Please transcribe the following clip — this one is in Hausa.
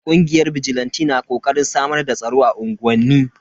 Kungiyar bijilanti na kokarin samar da tsaro a unguwanni.